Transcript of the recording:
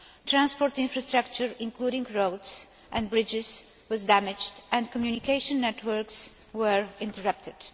Transport infrastructure, including roads and bridges, was damaged and communication networks were interrupted.